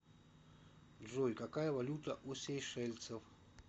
джой какая валюта у сейшельцев